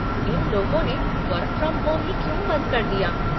इन लोगों ने work from home ही क्यों बंद कर दिया?